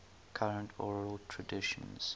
current oral traditions